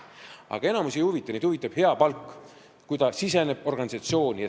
Aga enamikku see ei huvita, neid huvitab hea palk, kui nad sisenevad organisatsiooni.